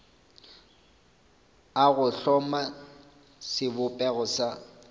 a go hloma sebopego sa